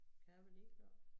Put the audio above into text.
Kan jeg være ligeglad